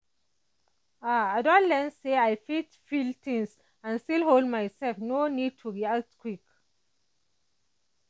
ah i don learn say i fit feel things and still hold myself no need to react quick.